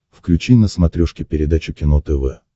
включи на смотрешке передачу кино тв